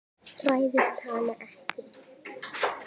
Hræðist hana ekki.